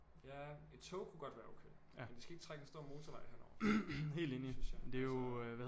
Ja et tog kunne godt være okay men de skal ikke trække en stor motorvej henover synes jeg altså